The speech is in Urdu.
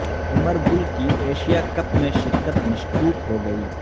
عمر گل کی ایشیا کپ میں شرکت مشکوک ہوگئی